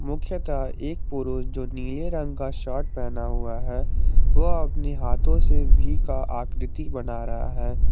मुख्यतः एक पुरुष जो नीले रंग का शर्ट पहना हुआ है वह अपने हाथों से वी का आकृति बना रहा है।